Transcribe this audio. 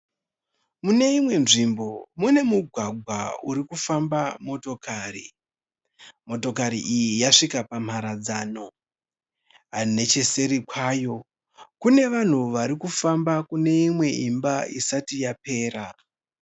Mune imwe nzvimbo mune mugwagwa uri kufamba motokari. Motokari iyi yasvika pamharadzano. Necheseri kwayo, kune vanhu vari kufamba kune imwe imba isati yapera.